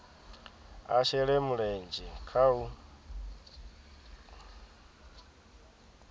a shele mulenzhe kha u